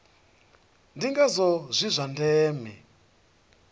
ndi ngazwo zwi zwa ndeme